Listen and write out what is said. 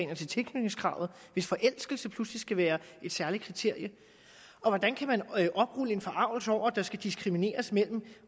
og til tilknytningskravet hvis forelskelse pludselig skal være et særligt kriterium og hvordan kan man oprulle en forargelse over at der skal diskrimineres mellem